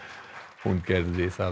hún gerði